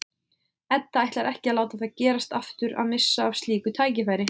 Edda ætlar ekki að láta það gerast aftur að missa af slíku tækifæri.